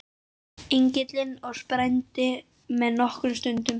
Engillinn og sprændi með miklum stunum.